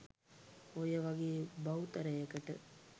ඔය වගේ බහුතරයකට